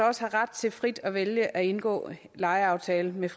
også ret til frit at vælge at indgå lejeaftale med